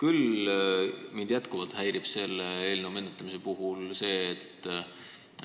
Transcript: Küll häirib mind jätkuvalt selle eelnõu menetlemise puhul see,